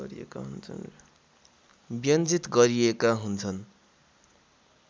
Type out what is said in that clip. व्यञ्जित गरिएका हुन्छन्